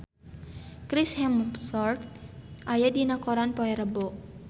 Chris Hemsworth aya dina koran poe Rebo